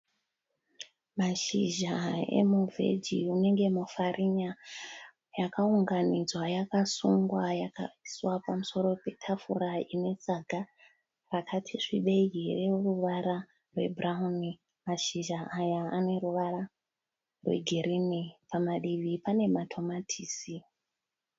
Mashizha emuvhehi unenge mufarinya. Yakaunganidzwa yakasungwa yakaiswa pamusoro petafura inetsaga rakati svibei rineruvara rwebhurawuni. Mashizha aya aneruvara rwegirinhi. Pamadivi pane matomatisi.